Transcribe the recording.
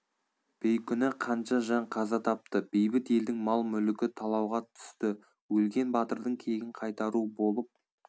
бейкүнә қанша жан қаза тапты бейбіт елдің мал мүлікі талауға түсті өлген батырдың кегін қайтару болып